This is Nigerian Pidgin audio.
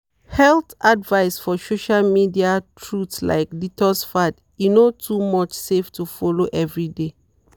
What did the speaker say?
health advice for social media truth like detox fads e no too much save to follow every dey.